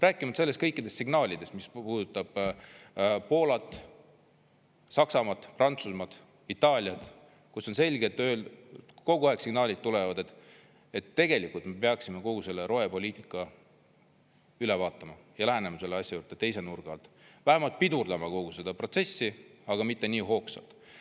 Rääkimata kõikidest signaalidest, mis puudutab Poolat, Saksamaad, Prantsusmaad, Itaaliat, kust kogu aeg signaalid tulevad, et tegelikult me peaksime kogu selle rohepoliitika üle vaatama ja lähenema sellele asjale teise nurga alt, vähemalt pidurdama kogu seda protsessi, aga mitte nii hoogsalt.